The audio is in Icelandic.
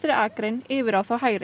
akrein yfir á þá hægri